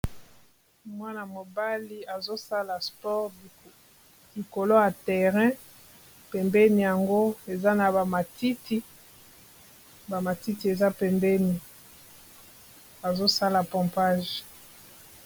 Mwana mobali azosala sport likolo ya terrain pembeni yango eza na ba matiti ba matiti eza pembeni azosala pompage.